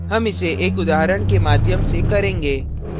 हम इसे एक उदाहरण के माध्यम से करेंगे